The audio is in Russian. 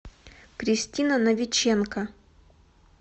кристина новиченко